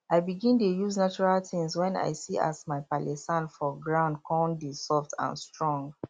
i begin dey use natural tins wen i see as my palee sand for ground con dey soft and strong